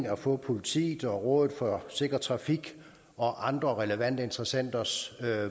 at få politiets og rådet for sikker trafiks og andre relevante interessenters